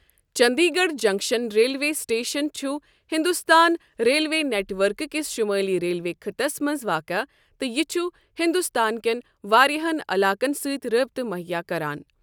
چٔنٛدی گَڑھ junction railway station چُھ ہِنٛدُستٲنہِ railway network کِس شُمٲلی ریلوے خٕطس منٛز واقع تہٕ یہِ چُھ ہِنٛدُستان کیٚن واریاہن علاقن سۭتہِ رٲبطہٕ مُہیا کَران ۔